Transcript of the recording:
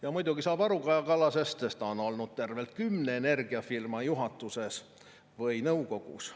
Ja muidugi saab aru Kaja Kallasest, sest ta on olnud tervelt kümne energiafirma juhatuses või nõukogus.